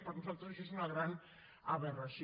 per nosaltres això és una gran aberració